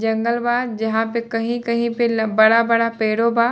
जंगल बा जहाँ पे कही-कही पे बड़ा-बड़ा पेड़ो बा।